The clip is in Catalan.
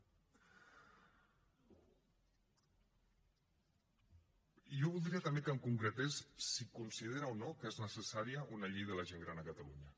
i jo voldria també que em concretés si considera o no que és necessària una llei de la gent gran a catalunya